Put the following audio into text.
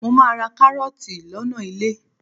Mo máa ra kárọ́ọ̀tì lọ́nà ilé.